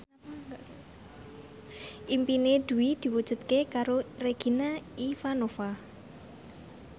impine Dwi diwujudke karo Regina Ivanova